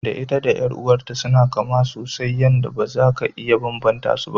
Da ita da ƴar'uwar ta suna kama sosai yanda baza ka iya banbanta su ba.